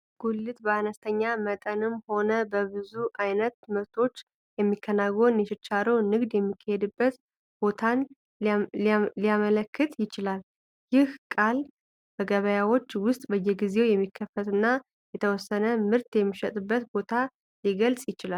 ጉልት በአነስተኛ መጠንም ሆነ በብዙ ዓይነት ምርቶች የሚከናወን የችርቻሮ ንግድ የሚካሄድበት ቦታን ሊያመለክት ይችላል። ይህ ቃል በገበያዎች ውስጥ በየጊዜው የሚከፈትና የተወሰነ ምርት የሚሸጥበትን ቦታ ሊገልጽ ይችላል።